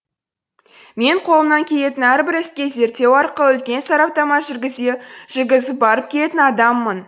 мен қолымнан келетін әрбір іске зерттеу арқылы үлкен сараптама жүргізе жүргізіп барып келетін адаммын